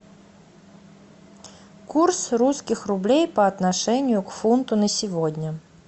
курс русских рублей по отношению к фунту на сегодня